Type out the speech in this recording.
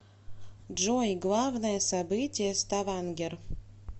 джой главное событие ставангер